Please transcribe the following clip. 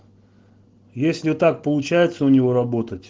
если так получается у него работать